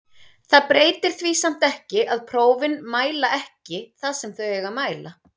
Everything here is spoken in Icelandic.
Það breytir því samt ekki að prófin mæla ekki það sem þau eiga að mæla.